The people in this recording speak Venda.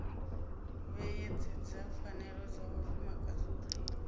vheyedzedza pfanelo dza vhafumakadzi uri